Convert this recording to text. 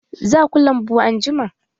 Za ku lambu anjima?